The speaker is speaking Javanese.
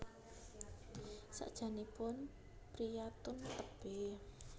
Sajakipun priyantun tebih